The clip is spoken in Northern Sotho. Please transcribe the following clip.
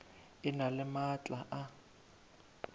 e na le maatla a